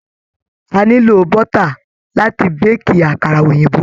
A nílò bọ́tà láti béèkì àkàrà òyìnbó.